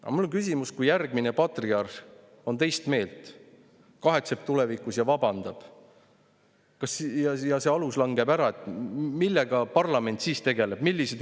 Aga mul on küsimus: kui järgmine patriarh on teist meelt, ta tulevikus kahetseb ja vabandab ning see alus langeb ära, millega parlament siis tegelema hakkab?